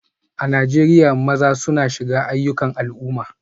A Najeriya, maza suna shiga ayyukan al'umma